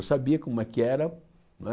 Eu sabia como é que era, né?